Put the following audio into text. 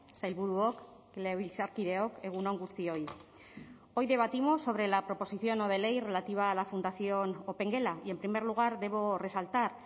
sailburuok legebiltzarkideok egun on guztioi hoy debatimos sobre la proposición no de ley relativa a la fundación opengela y en primer lugar debo resaltar